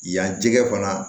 Yan jɛgɛ fana